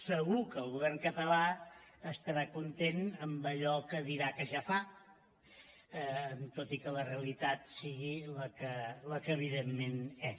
segur que el govern català estarà content amb allò que dirà que ja fa tot i que la realitat sigui la que evidentment és